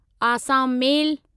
Assam मेल